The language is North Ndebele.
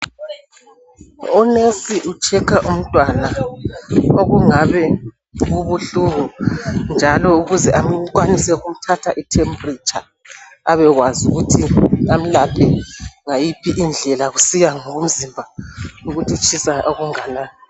U"nurse " u" checker "umntwana okungabe kubuhlungu njalo ukuze akwanise ukuthatha i" temperature "abekwazi ukuthi amelaphe ngayiphi indlela kusiya ngomzimba ukuthi utshisa okunganani.